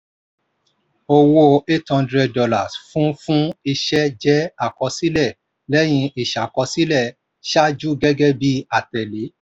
owó eight hundred dolars fún fún iṣẹ́ jẹ́ àkọsílẹ̀ lẹ́yìn ìṣàkọsílẹ̀ ṣáájú gẹ́gẹ́ bí àtẹ̀le.